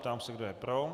Ptám se, kdo je pro.